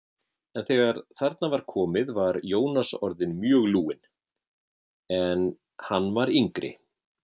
En þegar þarna var komið var Jónas orðinn mjög lúinn, en hann var yngri.